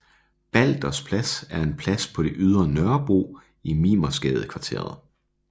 Balders Plads er en plads på Ydre Nørrebro i Mimersgadekvarteret